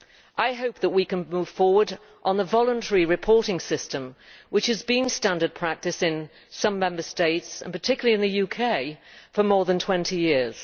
I hope that we can move forward on the voluntary reporting system which has been standard practice in some Member States, and particularly in the UK, for more than 20 years.